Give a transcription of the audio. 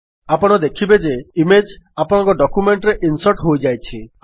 ଆପଣ ଦେଖିବେ ଯେ ଇମେଜ୍ ଆପଣଙ୍କ ଡକ୍ୟୁମେଣ୍ଟ୍ ରେ ଇନ୍ସର୍ଟ ହୋଇଯାଇଛି